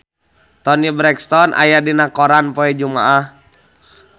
Toni Brexton aya dina koran poe Jumaah